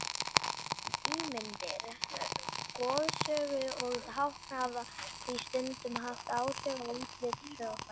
Ímyndir, goðsögur og tákn hafa því stundum haft áhrif á útlit hljóðfæra.